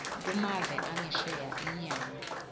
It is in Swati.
kumave angesheya inyama